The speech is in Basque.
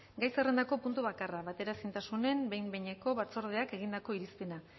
gai zerrendako puntu bakarra bateraezintasunen behin behineko batzordeak egindako irizpena